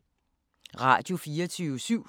Radio24syv